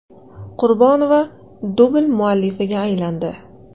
Qurbonova dubl muallifiga aylandi.